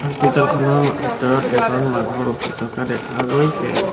Hospital খনৰ ভিতৰত এজন মানুহ ৰখি থকা দেখা গৈছে।